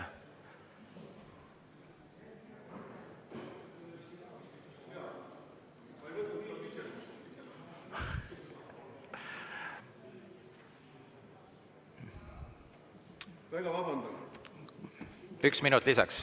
Üks minut lisaks Mart Helmele, palun!